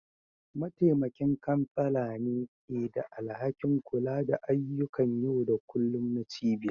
Mataimakin kansala ne ke da alhakin kula da ayyukan yau da kullun na cibiyar.